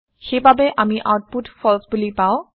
সেই বাবে আমি আওতপুত ফালছে বোলি পাওঁ